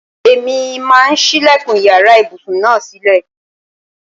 Èmi máà ń sílẹ̀kùn iyàrá ibùsùn náà sílè.